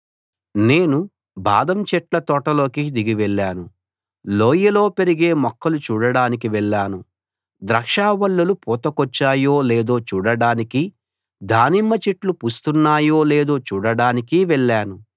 నేను బాదం చెట్ల తోటలోకి దిగి వెళ్లాను లోయలో పెరిగే మొక్కలు చూడడానికి వెళ్లాను ద్రాక్షావల్లులు పూతకొచ్చాయో లేదో చూడడానికి దానిమ్మ చెట్లు పూస్తున్నాయో లేదో చూడడానికి వెళ్లాను